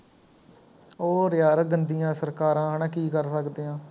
ਹੋਰ ਯਾਰ ਗੰਦੀਆ ਸਰਕਾਰਾਂ ਹੈਨਾ ਕੀ ਕਰ ਸਕਦੇ ਹਾਂ